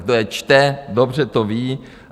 Kdo je čte, dobře to ví.